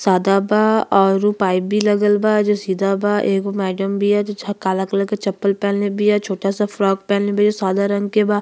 सादा बा और ऊ पाइप भी लगल बा जो सीधा बा। एगो मैडम बिया जो छ काला कलर के चप्पल पहिनले बिया। छोटा सा फ्रॉक पहिनले बिया। सादा रंग के बा।